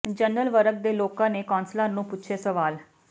general ਵਰਗ ਦੇ ਲੋਕਾਂ ਨੇ ਕੌਾਸਲਰਾਂ ਨੂੰ ਪੁੱਛੇ ਸਵਾਲ